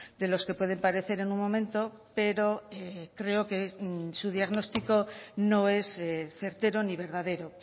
de los que pueden parecer en un momento pero creo que su diagnóstico no es certero ni verdadero